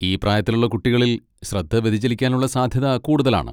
ഈ പ്രായത്തിലുള്ള കുട്ടികളിൽ ശ്രദ്ധ വ്യതിചലിക്കാനുള്ള സാധ്യത കൂടുതലാണ്.